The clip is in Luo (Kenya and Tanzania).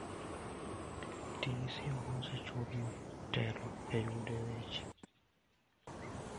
Ti gi sim ma osechul motelo e yudo weche.